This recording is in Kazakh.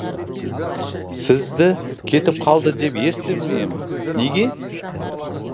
сізді кетіп қалды деп естіп ем неге